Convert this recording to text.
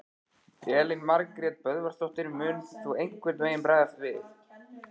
Elín Margrét Böðvarsdóttir: Mun þú einhvern veginn bregðast við?